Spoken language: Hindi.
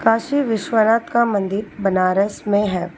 काशी विश्वनाथ का मंदिर बनारस में है।